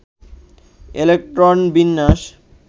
electron বিন্যাস